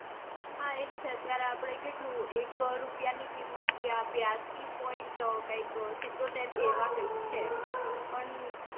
હા એજ છે અત્યારે આપડે એક રૂપિયાની કિંમત ત્યાં બ્યાસી point કાંઈક સિત્તોતેર કે એવા કૈંકે છે પણ